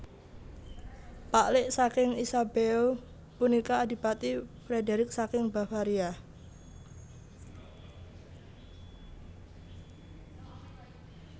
Paklik saking Isabeau punika Adipati Frederick saking Bavaria